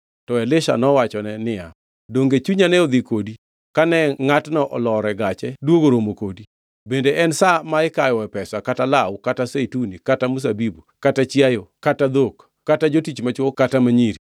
To Elisha nowachone niya, “Donge chunya ne ni kodi kane ngʼatno olor e gache duogo romo kodi? Bende en sa ma ikawoe pesa, kata law, kata zeituni, kata mzabibu, kata chiayo, kata dhok, kata jotich machwo, kata ma nyiri?